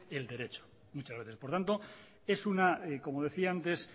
el derecho muchas veces por tanto es una como decía antes